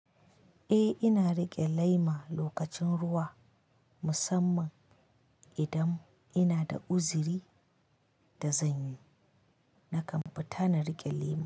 Eh, ina riƙe lema lokacin ruwa musamman idan ina da uziri da zan yi nakan fita na riƙe lema.